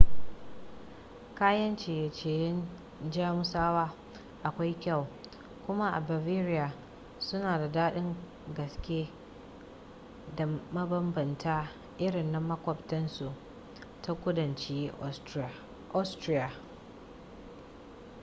kayan ciye-ciyen jamusawa akwai kyau kuma a bavaria suna da daɗin gaske da mabambanta irin na maƙwabciyarsu ta kudanci austria